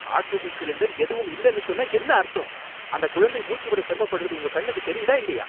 Oxygen cylinder எதுவும் இல்லனு சொன்னா என்ன அர்த்தம்? அந்த குழந்தை மூச்சு விட சிரமப்படுறது உங்க கண்ணுக்கு தெரியுதா இல்லையா?